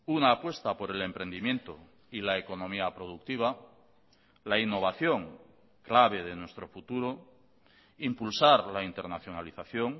una apuesta por el emprendimiento y la economía productiva la innovación clave de nuestro futuro impulsar la internacionalización